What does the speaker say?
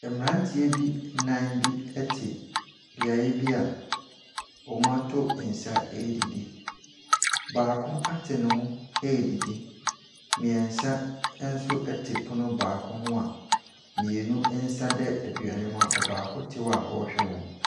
Mmaranteɛ bi nnan bi te beaeɛ bia wɔato nsa ɛredidi. Baako ate ne ho ɛredidi, mmiɛnsa ɛnso ɛte pono baako ho a mmienu nsa da aduane mu a ɔbaako te ho a ɔrehwɛ wɔn.